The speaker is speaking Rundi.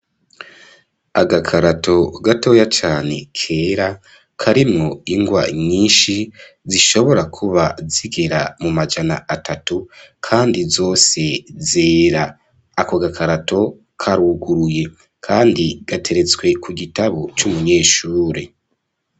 Agakarato gatoya cane, kera, karimwo ingwa nyinshi, zishobora kuba zigera mu majana atatu, kandi zose zera; ako gakarato karuguruye, kandi gateretswe ku gitabo c'umunyeshure.